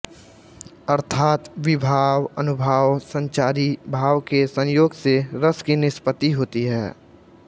अर्थात विभाव अनुभाव संचारी भाव के संयोग से रस की निष्पत्ति होती है